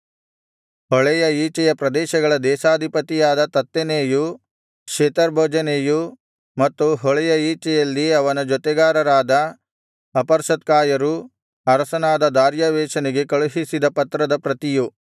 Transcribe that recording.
ಹೊಳೆಯ ಈಚೆಯ ಪ್ರದೇಶಗಳ ದೇಶಾಧಿಪತಿಯಾದ ತತ್ತೆನೈಯೂ ಶೆತರ್ಬೋಜೆನೈಯೂ ಮತ್ತು ಹೊಳೆಯ ಈಚೆಯಲ್ಲಿ ಅವನ ಜೊತೆಗಾರರಾದ ಅಪರ್ಸತ್ಕಾಯರೂ ಅರಸನಾದ ದಾರ್ಯಾವೆಷನಿಗೆ ಕಳುಹಿಸಿದ ಪತ್ರದ ಪ್ರತಿಯು